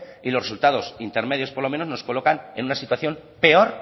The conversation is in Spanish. y los resultados intermedios por lo menos nos colocan en una situación peor